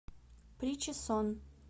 причесон